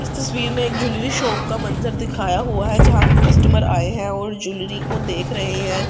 इस तस्वीर में एक ज्वैलरी शॉप का मंजर दिखाया हुआ है जहां के कस्टमर आए हैं और ज्वैलरी को देख रहे हैं ।